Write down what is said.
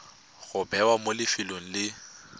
go bewa mo lefelong le